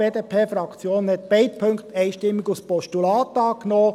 Die BDP hat beide Punkte einstimmig als Postulat angenommen.